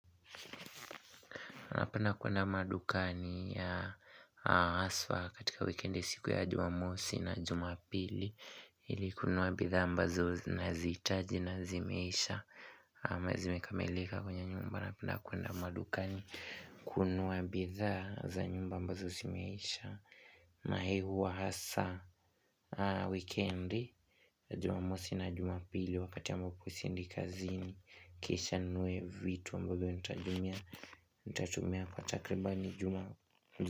Anapenda kuenda madukani na haswa katika wikendi siku ya jumamosi na jumapili Hili kununuwa bidhaa ambazo ninazihitaji na zimeisha ama zimekamelika kwenye nyumba napenda kuenda madukani kununua bidhaa za nyumba ambazo zimeisha na ihi huwa hasa wikendi Jumamosi na jumapili wakati ambapo seindi kazini Kisha ninunue vitu ambavyo nitajumia nitatumia pa takribani Ijumaa.